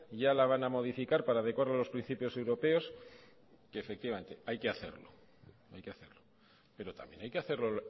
ya la van a modificar para decoro de los principios europeos que efectivamente hay que hacerlo pero también hay que hacerlo